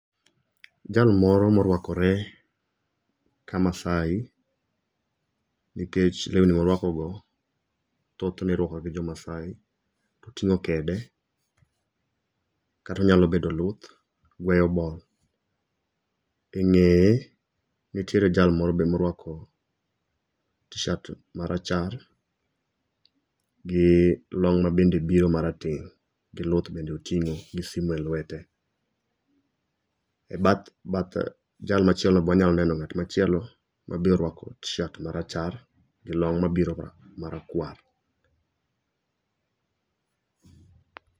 Jal moro ma orwakore ka maasai nikech lewni ma orwako go thoth ne irwako gi jo maasai oting'o kede kata onyalo bedo luth. E ng'eye nitie jal moro be ma orwako tishat ma rachar gi long bende biro ma rateng' gi lluth bende oting'o gi simo e lwete. E bath bath jal machielo be wanya neno ng'at machielo ma orwako tishat ma rachar gi long ma biro ma ma rakwar.